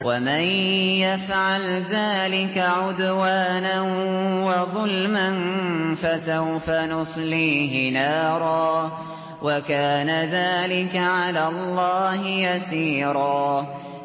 وَمَن يَفْعَلْ ذَٰلِكَ عُدْوَانًا وَظُلْمًا فَسَوْفَ نُصْلِيهِ نَارًا ۚ وَكَانَ ذَٰلِكَ عَلَى اللَّهِ يَسِيرًا